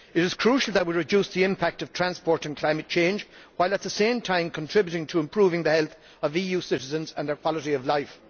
It is crucial that we reduce the impact of transport on climate change, while at the same time contributing to improving the health of EU citizens and their quality of life.